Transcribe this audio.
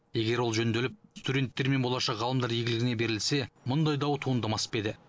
егер ол жөнделіп студенттер мен болашақ ғалымдар игілігіне берілсе мұндай дау туындамас па еді